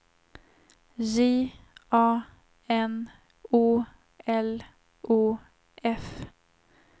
J A N O L O F